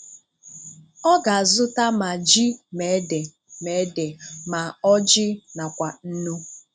Ọ̀ ga-azù̀tà ma jí ma èdè ma èdè ma ọ́jị nakwa nnu.